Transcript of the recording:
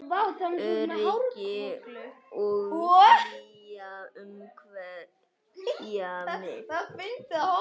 Öryggi og hlýja umvefja mig.